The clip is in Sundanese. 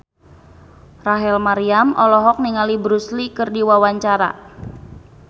Rachel Maryam olohok ningali Bruce Lee keur diwawancara